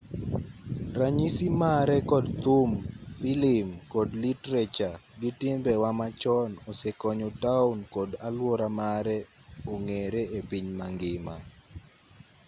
ranyisi mare kod thum filim kod litrecha gi timbe wa machon osekonyo taon kod aluora mare ong'ere epiny mangima